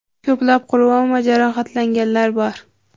Ko‘plab qurbon va jarohatlanganlar bor.